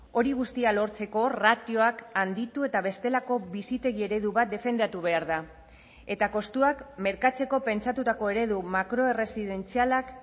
hori guztia lortzeko ratioak handitu eta bestelako bizitegi eredu bat defendatu behar da eta kostuak merkatzeko pentsatutako eredu makroerresidentzialak